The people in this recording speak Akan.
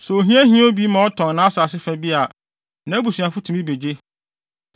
“ ‘Sɛ ohia hia obi ma ɔtɔn nʼasase fa bi a, nʼabusuafo tumi begye.